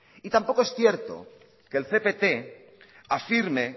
y tampoco es cierto que el cpt afirme